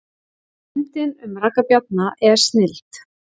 Myndin um Ragga Bjarna er snilld